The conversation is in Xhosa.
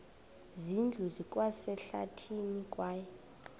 zindlu zikwasehlathini kwaye